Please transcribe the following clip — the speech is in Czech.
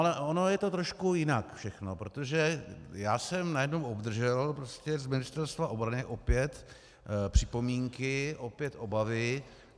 Ale ono je to trošku jinak všechno, protože já jsem najednou obdržel z Ministerstva obrany opět připomínky, opět obavy.